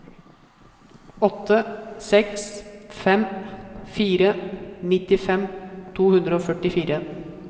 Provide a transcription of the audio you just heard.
åtte seks fem fire nittifem to hundre og førtifire